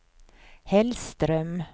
Hellström